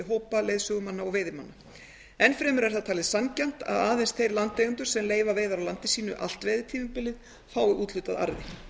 hópa leiðsögumanna og veiðimanna enn fremur er það talið sanngjarnt að aðeins þeir landeigendur sem leyfa veiðar á landi sínu allt veiðitímabilið að úthlutað arði